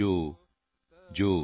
ਜੋਜੋਜੋਜੋ